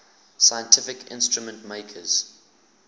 scientific instrument makers